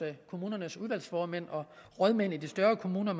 kommunernes udvalgsformænd og rådmænd i de større kommuner